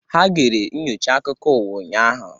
Ha gere nnyocha akụkọ ụwa ụnyaahụ.